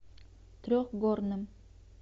трехгорным